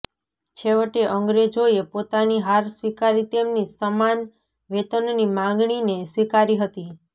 છેવટે અંગ્રેજોએ પોતાની હાર સ્વીકારી તેમની સમાન વેતનની માગણીને સ્વીકારી હતી